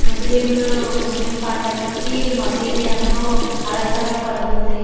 ముస్లింలు ముస్లిం పండక్కి మసీదు ఎంతో అలంకరపడుతుంది.